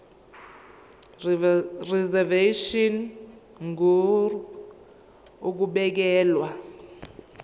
reservation ngur ukubekelwa